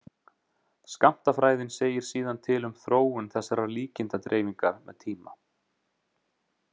Skammtafræðin segir síðan til um þróun þessarar líkindadreifingar með tíma.